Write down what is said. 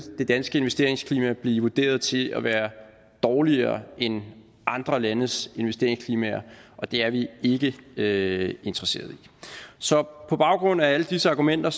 det danske investeringsklima blive vurderet til at være dårligere end andre landes investeringsklimaer og det er vi ikke ikke interesseret i så må baggrund af alle disse argumenter